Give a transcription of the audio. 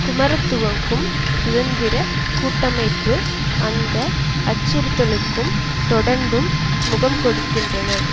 குமார துங்கவும் சுதந்திர கூட்டமைப்பு அந்த அச்சறுத்தலுக்கு தொடர்ந்தும் முகம் கொடுக்கின்றனர்